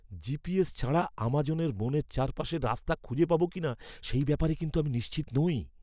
GPS ছাড়া আমাজনের বনের চারপাশে রাস্তা খুঁজে পাবো কিনা সেই ব্যাপারে কিন্তু আমি নিশ্চিত নই।